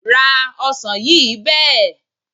Ra ọsàn yìí bẹ́ẹ̀.